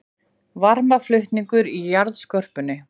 Varmaflutningur í jarðskorpunni